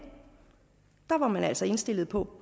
var man altså indstillet på